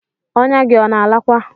Ọ̀nya gi ona alakwa?